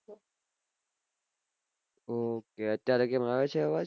હમ અત્યારે કેમ આવે છે અવાજ